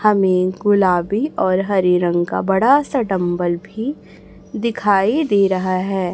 हमें गुलाबी और हरे रंग का बड़ा सा डंबल भी दिखाई दे रहा है।